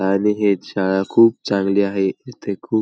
आणि हे शाळा खूप चांगली आहे इथे खूप --